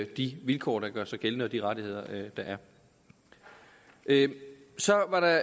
de vilkår der gør sig gældende og de rettigheder der er så var der